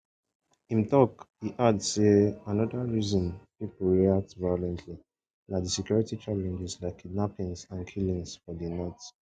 im tok e add say anoda reason pipo react violently na di security challenges like kidnappings and killings for di north